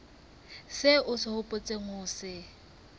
seo o hopotseng ho se